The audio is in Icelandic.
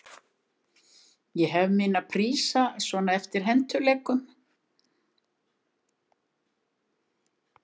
Ég hef mína prísa svona eftir hentugleikum.